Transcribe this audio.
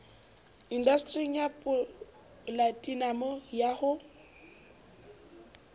indastering ya polatinamo ha ho